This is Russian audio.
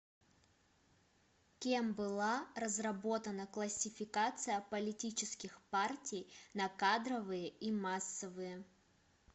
кем была разработана классификация политических партий на кадровые и массовые